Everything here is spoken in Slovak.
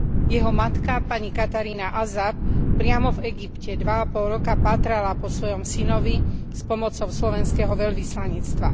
Jeho matka pani Katarína Azab priamo v Egypte dva a pol roka pátrala po svojom synovi s pomocou slovenského veľvyslanectva.